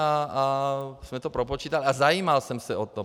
My jsme to propočítávali a zajímal jsem se o to.